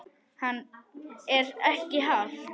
Hann: Er ekki hált?